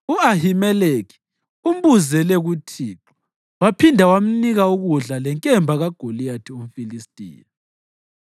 U-Ahimeleki umbuzele kuThixo; waphinda wamnika ukudla lenkemba kaGoliyathi umFilistiya.”